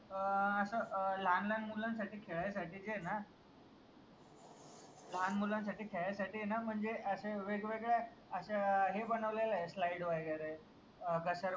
अं अस अं लाहान लाहान मुलांसाठी खेळायसाठी जे आहे ना लाहान मुलांसाठी खेळायसाठी ए ना म्हनजे असे वेगवेगळ्या अश्या हे बनवलेल्या आहे slide वगैरे अं घसर